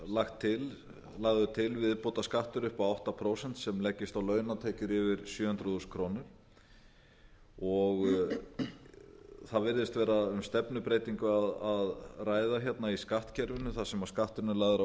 þar er lagður til viðbótarskattur upp á átta prósent sem leggist á launatekjur yfir sjö hundruð þúsund krónur það virðist vera um stefnubreytingu að ræða hérna í skattkerfinu þar sem skatturinn er lagður á